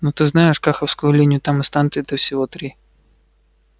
ну ты знаешь каховскую линию там и станций-то всего три